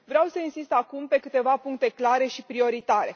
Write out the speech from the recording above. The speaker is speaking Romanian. Vreau să insist acum pe câteva puncte clare și prioritare